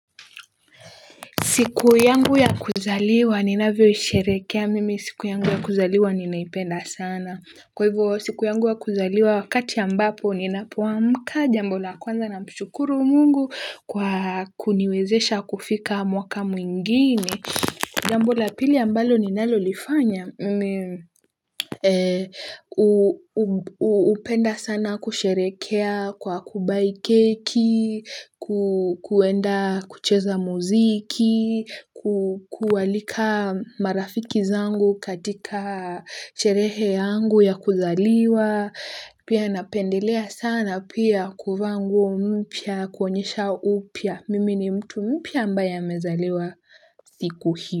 Siku yangu ya kuzaliwa, ninavyoisherehekea mimi. Siku yangu ya kuzaliwa, ninaipenda sana. Kwa hivyo, siku yangu ya kuzaliwa, wakati ambapo, ninapoamka jambo la kwanza namshukuru mungu kwa kuniwezesha kufika mwaka mwingine. Jambo la pili ambalo ninalolifanya upenda sana kusherehekea kwa kubuy keki, kuenda kucheza muziki, kualika marafiki zangu katika sherehe yangu ya kuzaliwa. Pia napendelea sana pia kuvaa nguo mpya kuonyesha upya mimi ni mtu mpya ambaye amezaliwa siku hii.